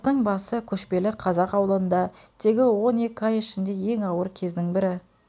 қыстың басы көшпелі қазақ аулында тегі он екі ай ішіндегі ең ауыр кездің бірі